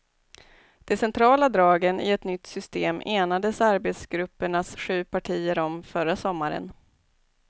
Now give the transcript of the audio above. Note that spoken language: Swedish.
De centrala dragen i ett nytt system enades arbetsgruppens sju partier om förra sommaren.